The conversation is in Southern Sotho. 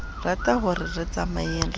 ratahore re tsamayeng re ye